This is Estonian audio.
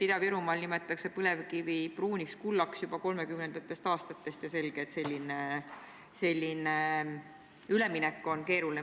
Ida-Virumaal nimetatakse põlevkivi pruuniks kullaks juba 1930. aastatest ja selge, et selline üleminek on keeruline.